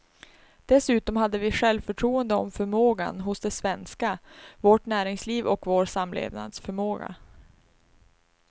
Dessutom hade vi självförtroende om förmågan hos det svenska, vårt näringsliv och vår samlevnadsförmåga.